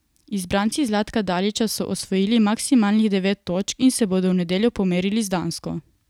Izbranci Zlatka Dalića so osvojili maksimalnih devet točk in se bodo v nedeljo pomerili z Dansko.